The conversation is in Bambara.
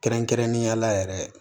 Kɛrɛnkɛrɛnnenya la yɛrɛ